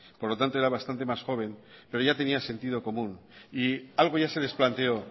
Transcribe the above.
por lo tanto era bastante más joven pero ya tenía sentido común y algo ya se les planteó